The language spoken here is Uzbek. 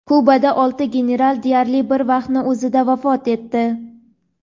Kubada olti general deyarli bir vaqtning o‘zida vafot etdi.